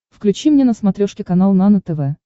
включи мне на смотрешке канал нано тв